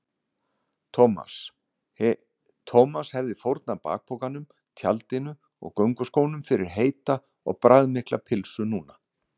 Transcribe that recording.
Thomas hefði fórnað bakpokanum, tjaldinu og gönguskónum fyrir heita og bragðmikla pylsu núna.